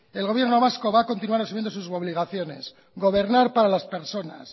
el gobierno vasco va a continuar asumiendo sus obligaciones gobernar para las personas